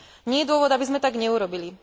Nie je dôvod, aby sme tak neurobili.